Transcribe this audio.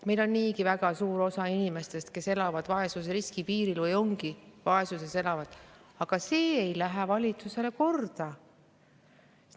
Meil niigi on väga suur osa inimestest vaesusriski piiril või elavadki vaesuses, aga see ei lähe valitsusele korda.